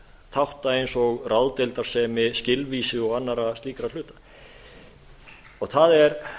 þátta eins og ráðdeildarsemi skilvísi og annarra slíkra hluta það er